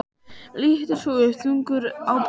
Lítur svo upp, þungur á brúnina.